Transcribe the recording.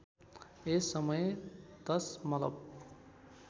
यस समय दशमलव